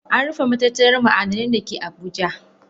An rufe matatar ma'adinai da ke Abuja.